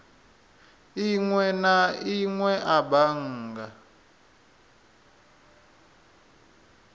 inwe na inwe a bannga